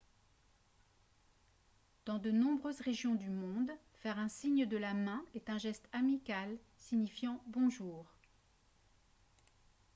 dans de nombreuses régions du monde faire un signe de la main est un geste amical signifiant « bonjour »